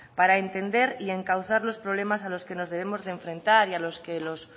para entender y encauzar los problemas a los que nos debemos enfrentar y a los que los